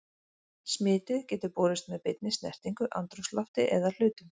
Smitið getur borist með beinni snertingu, andrúmslofti eða hlutum.